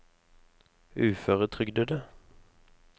uføretrygdede